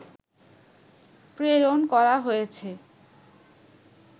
প্রেরণ করা হয়েছে